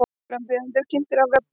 Frambjóðendur kynntir á vefnum